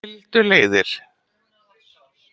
Eftir það skildu leiðir